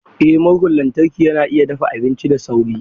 Eh murhun lantarki yana iya dafa abinci da sauri.